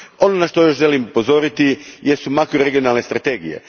Ono na što još želim upozoriti jesu makroregionalne strategije.